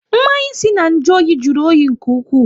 Mmanya si na nju oyi jụrụ oyi nke ụkwụ